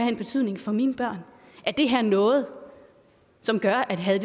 en betydning for mine børn er det her noget som gør at havde